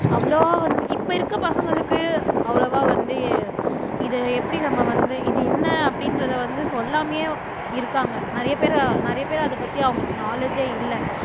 அவ்வளவா வந்து இப்ப இருக்க பசங்களுக்கு அவ்வளவா வந்து இதை எப்படி நம்ம வந்து இது என்ன அப்படின்றதை வந்து சொல்லாமயே இருக்காங்க நிறைய பேர் நிறைய பேர் அதை பத்தி அவங்களுக்கு நாலேச் இல்லை